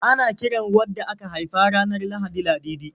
Ana kiran wadda aka haifa ranar Lahadi da Ladidi.